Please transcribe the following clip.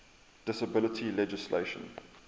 disability legislation